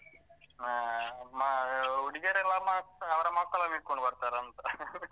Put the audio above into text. ಆ ಮ ಹುಡಿಗಿಯರೆಲ್ಲ ಮತ್ ಅವರ ಮಕ್ಕಳನ್ನು ಹಿಡ್ಕೊಂಡು ಬರ್ತಾರಂತ .